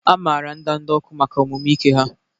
A maara ndanda ọkụ maka omume ike ha.